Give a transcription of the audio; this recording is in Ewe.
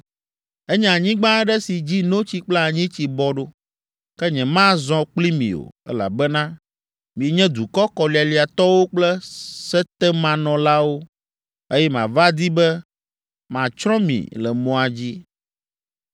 Enye anyigba aɖe si dzi ‘notsi kple anyitsi bɔ ɖo.’ Ke nyemazɔ kpli mi o, elabena mienye dukɔ kɔlialiatɔwo kple setemanɔlawo, eye mava di be matsrɔ̃ mi le mɔa dzi.”